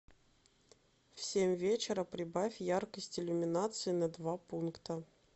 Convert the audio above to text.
в семь вечера прибавь яркость иллюминации на два пункта